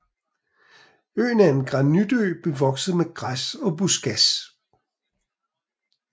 Øen er en granitø bevokset med græs og buskads